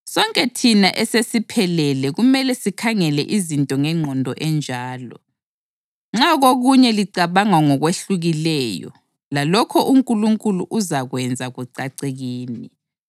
Sonke thina esesiphelele kumele sikhangele izinto ngengqondo enjalo. Nxa kokunye licabanga ngokwehlukileyo, lalokho uNkulunkulu uzakwenza kucace kini.